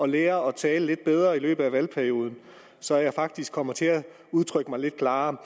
lære at tale lidt bedre i løbet af valgperioden så jeg faktisk kommer til at udtrykke mig lidt klarere